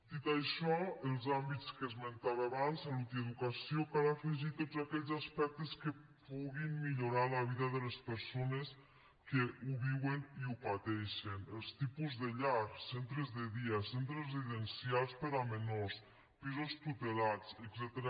dit això als àmbits que esmentava abans salut i educació cal afegir tots aquells aspectes que puguin millorar la vida de les persones que ho viuen i ho pateixen els tipus de llars centres de dia centres residencials per a menors pisos tutelats etcètera